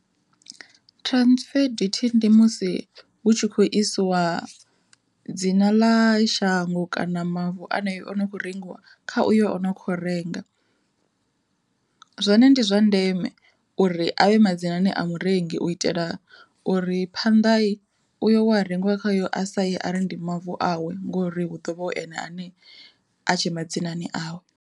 Transfer duty ndi musi hu tshi khou isiwa dzina ḽa shango kana mavu a nayo o no kho rengiwa kha uyo o no kho renga. Zwone ndi zwa ndeme uri avhe madzinani a murengi u itela uri phanḓa uyo wea rengiwa khaye a saye ari ndi mavu awe ngori hu ḓovha hu ene ane a tshe madzinani awe.